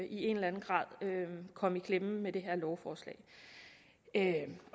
i en eller anden grad komme i klemme med det her lovforslag